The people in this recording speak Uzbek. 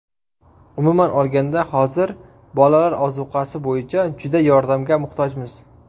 Umuman olganda, hozir bolalar ozuqasi bo‘yicha juda yordamga muhtojmiz.